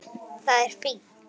Það er fínt.